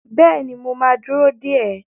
Bẹ́ẹ̀ni, mo ma dúró dè ẹ́